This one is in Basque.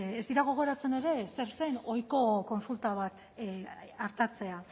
ez dira gogoratzen ere zer zen ohiko kontsulta bat artatzea